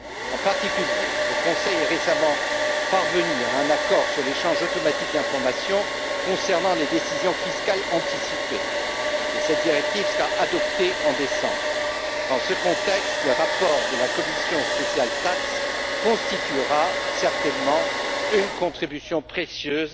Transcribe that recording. En particulier, le Conseil est récemment parvenu à un accord sur l'échange automatique d'informations concernant les décisions fiscales anticipées et cette directive sera adoptée en décembre. Dans ce contexte, le rapport de la commission spéciale TAXE constituera certainement une contribution précieuse